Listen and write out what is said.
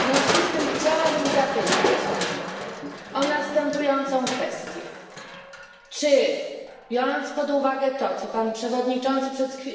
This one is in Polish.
W związku z tym chciałabym zapytać o następującą kwestię Czy biorąc pod uwagę to, co Pan Przewodniczący